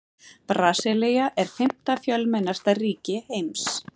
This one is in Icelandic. Brasilía er fimmta fjölmennasta ríki heims.